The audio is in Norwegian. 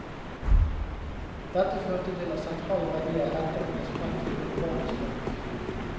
Dette førte til at sentrale verdier lettere ble spredt i urbane strøk.